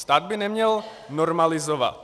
Stát by neměl normalizovat.